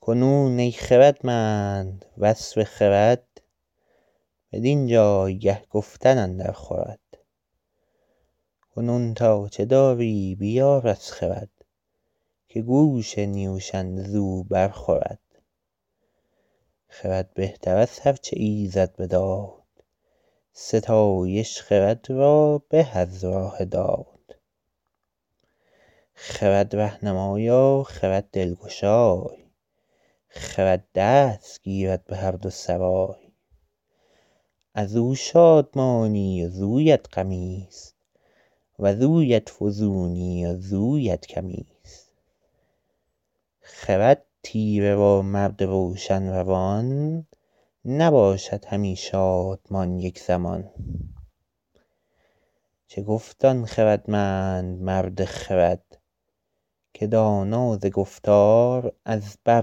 کنون ای خردمند وصف خرد بدین جایگه گفتن اندر خورد کنون تا چه داری بیار از خرد که گوش نیوشنده زو بر خورد خرد بهتر از هر چه ایزد بداد ستایش خرد را به از راه داد خرد رهنمای و خرد دلگشای خرد دست گیرد به هر دو سرای از او شادمانی وزویت غمی است وزویت فزونی وزویت کمی است خرد تیره و مرد روشن روان نباشد همی شادمان یک زمان چه گفت آن خردمند مرد خرد که دانا ز گفتار او بر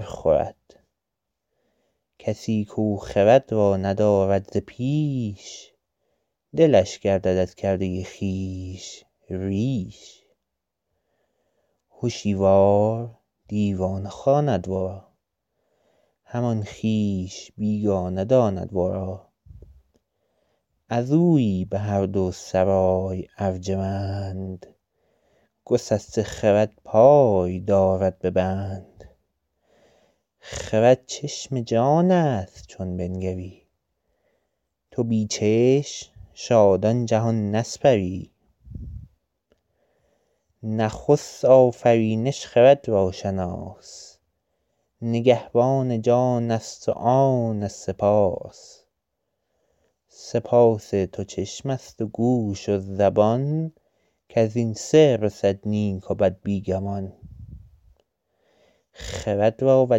خورد کسی کو خرد را ندارد ز پیش دلش گردد از کرده خویش ریش هشیوار دیوانه خواند ورا همان خویش بیگانه داند ورا از اویی به هر دو سرای ارجمند گسسته خرد پای دارد به بند خرد چشم جان است چون بنگری تو بی چشم شادان جهان نسپری نخست آفرینش خرد را شناس نگهبان جان است و آن سه پاس سه پاس تو چشم است و گوش و زبان کز این سه رسد نیک و بد بی گمان خرد را و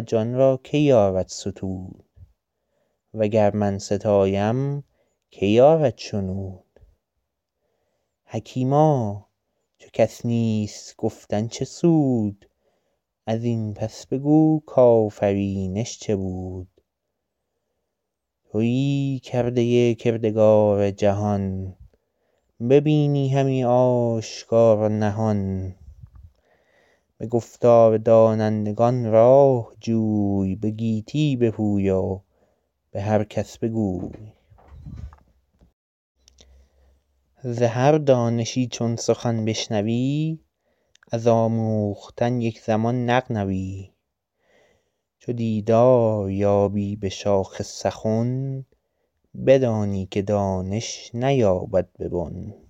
جان را که یارد ستود و گر من ستایم که یارد شنود حکیما چو کس نیست گفتن چه سود از این پس بگو کآفرینش چه بود تویی کرده کردگار جهان ببینی همی آشکار و نهان به گفتار دانندگان راه جوی به گیتی بپوی و به هر کس بگوی ز هر دانشی چون سخن بشنوی از آموختن یک زمان نغنوی چو دیدار یابی به شاخ سخن بدانی که دانش نیاید به بن